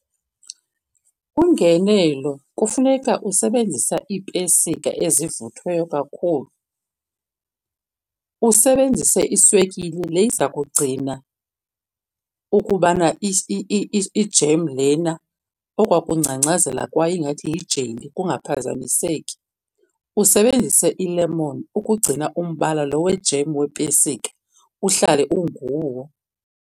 Ungenelo kufuneka usebenzisa iipesika ezivuthweyo kakhulu. Usebenzise iswekile le iza kugcina ukubana i-jam lena okwa kungcangcazela kwayo ingathi yijeli kungaphazamiseki. Usebenzise ilemoni ukugcina umbala lo we-jam wepesika uhlale unguwo.